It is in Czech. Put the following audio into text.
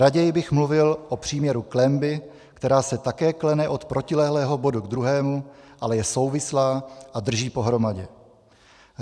Raději bych mluvil o příměru klenby, která se také klene od protilehlého bodu k druhému, ale je souvislá a drží pohromadě.